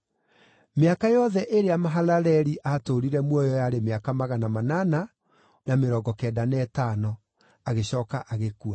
Mĩaka yothe ĩrĩa Mahalaleli aatũũrire muoyo yarĩ mĩaka magana manana na mĩrongo kenda na ĩtano, agĩcooka agĩkua.